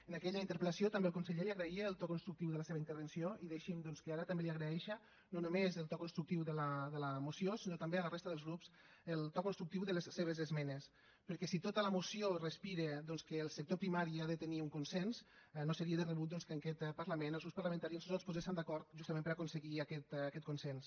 en aquella interpel·lació també el conseller li agraïa el to constructiu de la seva intervenció i deixi’m doncs que ara també li agraeixi no només el to constructiu de la moció sinó també a la resta dels grups el to constructiu de les seves esmenes perquè si tota la moció respira doncs que el sector primari ha de tenir un consens no seria de rebut que en aquest parlament els grups parlamentaris no ens poséssem d’acord justament per a aconseguir aquest consens